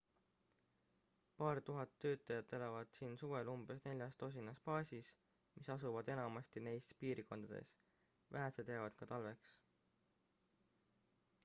paar tuhat töötajat elavad siin suvel umbes neljas tosinas baasis mis asuvad enamasti neis piirkondades vähesed jäävad ka talveks